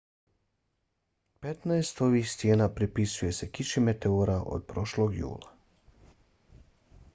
petnaest ovih stijena pripisuje se kiši meteora od prošlog jula